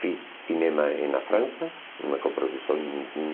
Fiz cinema em na França, uma coprodução em